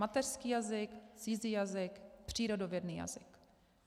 Mateřský jazyk, cizí jazyk, přírodovědný jazyk.